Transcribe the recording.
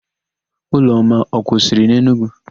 Ụlọma ọ kwụsịrị n'Enugwu?